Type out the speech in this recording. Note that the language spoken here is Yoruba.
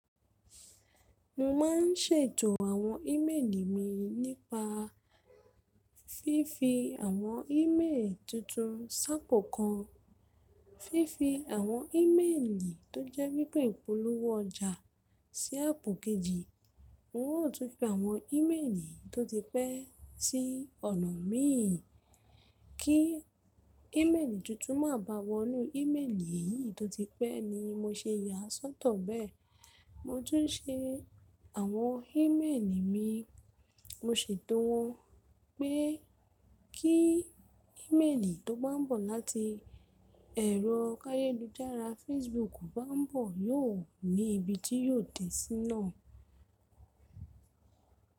Mo ma n ṣètò àwọn íméèlì mi nípa fífi àwọn íméèlì tuntun ṣáàpù kan, fífi àwọn íméèlì tó jẹ́ wípé ìpolówó ọjà sí áàpù kejì. Mo yóò tún fi àwọn íméèlì tó ti pẹ́ sí ọ̀nà mi, kí íméèlì tuntun má bà wọ inú íméèlì yìí tó ti pẹ́ ni mo ṣe yà sọ́tọ̀ bẹ́ẹ̀. Mo tún n ṣe àwọn íméèlì mi, mo ṣètò wọn pé kí íméèlì tó bá n bọ̀ láti ẹ̀rọ káyé lójú ara Facebook bá n bọ̀ yóò ní ibi tí yóò dé sí náà.